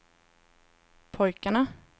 pojkarna